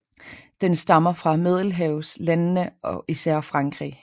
Den stammer fra Middelhavslandene og især Frankrig